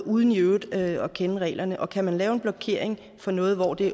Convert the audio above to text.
uden i øvrigt at kende reglerne og kan man lave en blokering for noget hvor det